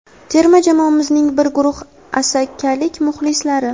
terma jamoamizning bir guruh asakalik muxlislari.